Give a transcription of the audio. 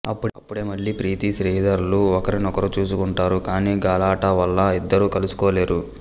అప్పుడే మళ్ళీ ప్రీతి శ్రీధర్ లు ఒకరినొకరు చూసుకుంటారు కానీ గలాటా వల్ల ఇద్దరూ కలుసుకోలేరు